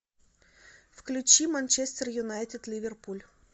включи манчестер юнайтед ливерпуль